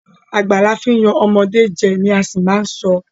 Àgbà la fí yan ọmọde jẹ! ni a ṣì má a sọ.